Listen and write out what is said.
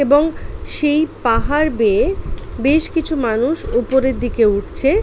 এবং সেই পাহাড় বেয়ে বেশ কিছু মানুষ উপরের দিকে উঠছে।